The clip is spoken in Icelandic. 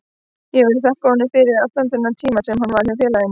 Ég vil þakka honum fyrir allan þennan tíma sem hann var hjá félaginu.